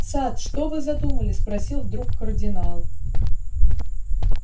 сатт что вы задумали спросил вдруг кардинал